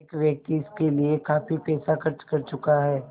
एक व्यक्ति इसके लिए काफ़ी पैसा खर्च कर चुका है